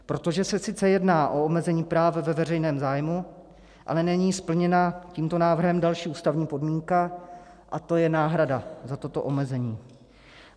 Protože se sice jedná o omezení práva ve veřejném zájmu, ale není splněna tímto návrhem další ústavní podmínka, a to je náhrada za toto omezení.